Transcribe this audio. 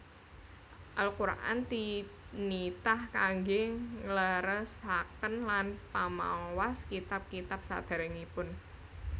Al Qur an tinitah kangge ngleresaken lan pamawas kitab kitab saderengipun